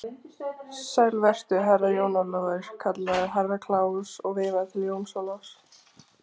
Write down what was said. Sæll vertu, Herra Jón Ólafur, kallaði Herra Kláus og veifaði til Jóns Ólafs.